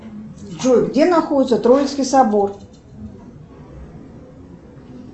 джой где находится троицкий собор